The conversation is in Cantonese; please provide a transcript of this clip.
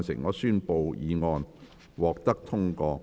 我宣布議案獲得通過。